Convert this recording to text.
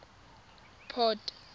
port